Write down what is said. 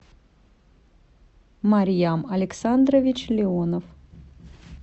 марьям александрович леонов